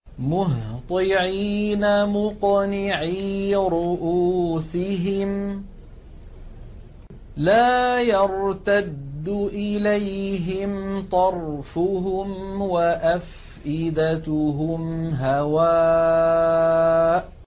مُهْطِعِينَ مُقْنِعِي رُءُوسِهِمْ لَا يَرْتَدُّ إِلَيْهِمْ طَرْفُهُمْ ۖ وَأَفْئِدَتُهُمْ هَوَاءٌ